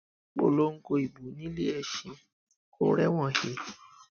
polongo ibo nílé ẹsìn kó o rẹwọn he